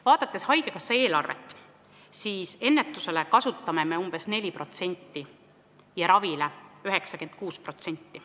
Vaadates haigekassa eelarvet, näeme, et ennetusele kulutame me umbes 4% ja ravile 96%.